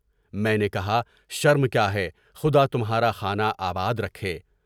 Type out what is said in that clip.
میں نے کہا شر م کیا ہے خدا تمہارا خانہ آباد رکھے۔